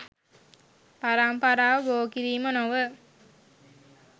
පරම්පරාව බෝ කිරීම නොව